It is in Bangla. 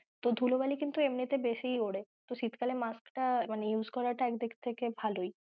তো ধুলো বালি কিন্তু এমনিতে বেশি ওড়ে তো শীত কালে mask টা use করা টা এক দিক থেকে ভালোই।